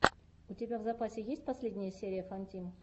у тебя в запасе есть последняя серия фантим